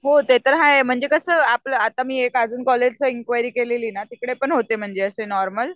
हो ते तर हाय म्हणजे कसं आता आपलं मी एक अजून कॉलेजचं इन्क्वायरी केलेली ना तिकडे पण होते म्हणजे असे नॉर्मल